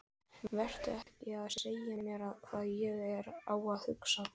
Vertu ekki að segja mér hvað ég á að hugsa!